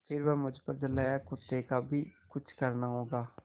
फिर वह मुझ पर झल्लाया कुत्ते का भी कुछ करना होगा